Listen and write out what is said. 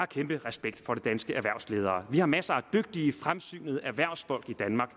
kæmpe respekt for de danske erhvervsledere vi har masser af dygtige fremsynede erhvervsfolk i danmark